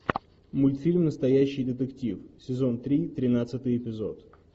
мультфильм настоящий детектив сезон три тринадцатый эпизод